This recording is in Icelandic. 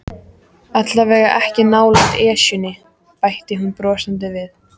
Allavega ekki nálægt Esjunni bætti hún brosandi við.